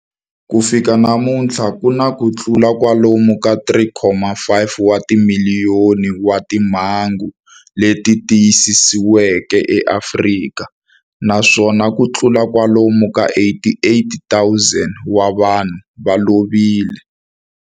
Ku fika namuntlha ku na kutlula kwalomu ka 3.5 wa timiliyoni wa timhangu leti tiyisisiweke eAfrika, naswona kutlula kwalomu ka 88,000 wa vanhu va lovile.